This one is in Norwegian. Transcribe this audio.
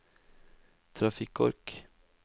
trafikkork